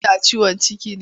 Kina ciwon ciki ne?